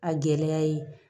A gɛlɛya ye